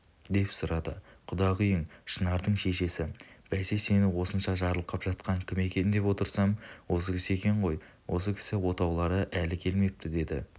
деп сұрады құдағиың шынардың шешесі бәсе сені осынша жарылқап жатқан кім екен деп отырсам осы кісі екен ғой осы кісі отаулары әлі келмепті деді